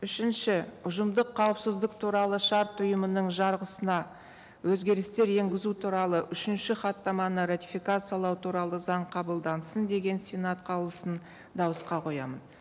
үшінші ұжымдық қауіпсіздік туралы шарт ұйымының жарғысына өзгерістер енгізу туралы үшінші хаттаманы ратификациялау туралы заң қабылдансын деген сенат қаулысын дауысқа қоямын